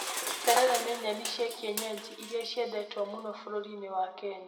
Terere nĩ nyeni cia kĩenyenji irĩa ciendetwo mũno bũrũri-inĩ wa Kenya.